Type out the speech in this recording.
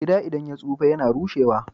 Gida idan ya tsufa yAna rushe wa